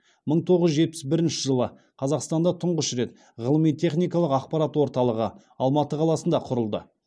мың тоғыз жүз жетпіс бірінші жылы қазақстанда тұңғыш рет ғылыми техникалық ақпарат орталығы алматы қаласында құрылды